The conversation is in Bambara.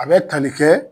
A bɛ tali kɛ